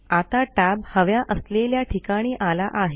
आता टॅब हव्या असलेल्या ठिकाणी आला आहे